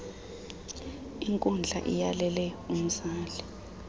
inkundla iyalele umzali